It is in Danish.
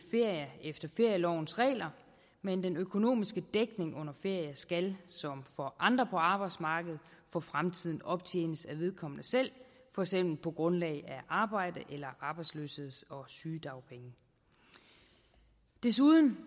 ferie efter ferielovens regler men den økonomiske dækning under ferie skal som for andre på arbejdsmarkedet for fremtiden optjenes af vedkommende selv for eksempel på grundlag af arbejde eller arbejdsløsheds og sygedagpenge desuden